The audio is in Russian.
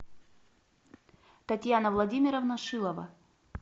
татьяна владимировна шилова